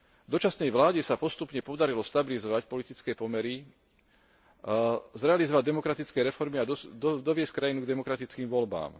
Dočasnej vláde sa postupne podarilo stabilizovať politické pomery, zrealizovať demokratické reformy a doviesť krajinu k demokratickým voľbám.